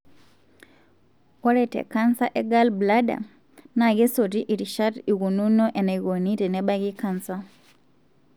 ore tecanser egallbladder, na kesoti irishat ikununo enaikoni tenebaaki canser.